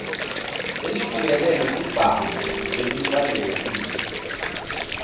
lelibukene netibhamu lelifanelekile